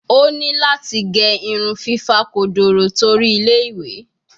O ni lati ge irun fifa kodoro tori Ile-iwe